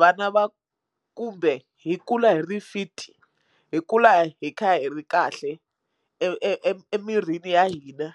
vana va kumbe hi kula hi ri fit hi kula hi kha hi ri kahle e e e emirini ya hina.